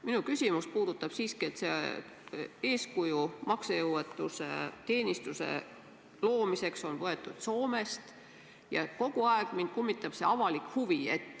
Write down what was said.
Minu küsimus puudutab seda, et eeskuju maksejõuetuse teenistuse loomiseks on võetud Soomest, ja kogu aeg mind kummitab see avalik huvi.